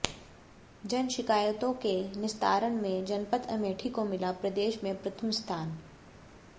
जन शिकायतों के निस्तारण में जनपद अमेठी को मिला प्रदेश में प्रथम स्थान